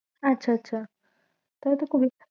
আচ্ছা আচ্ছা